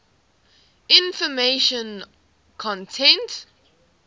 information content